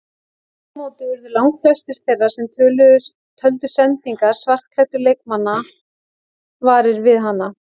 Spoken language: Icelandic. Aftur á móti urðu langflestir þeirra sem töldu sendingar svartklæddu leikmannanna varir við hana.